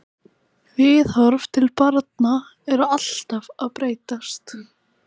Viðhorf til barna eru alltaf að breytast.